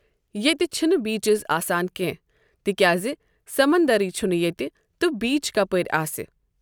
ییتہِ چھِ نہٕ بیچز آسان کیٚنٛہہ تِکیٚازِ سمندرٕیے چھُ نہٕ ییٚتہِ تہٕ بیٖچ کَپٲرۍ آسہِ۔